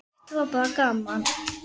Þetta var bara gaman.